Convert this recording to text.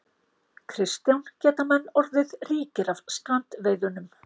Kristján: Geta menn orðið ríkir af strandveiðunum?